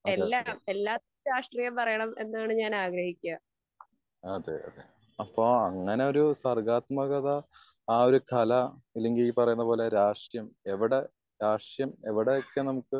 അതെ അതെ അതെ അതെ അപ്പൊ അങ്ങനെ ഒരു സർവത്മകത ആ ഒരു കല അല്ലെങ്കി ഈ പറയുന്നത് പോലെ രാഷ്ട്രീയം എവിടെ എവിടെ രാഷ്ട്രീയം എവിടെ ഒക്കെ നമുക്ക്